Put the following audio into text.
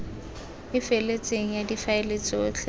e feletseng ya difaele tsotlhe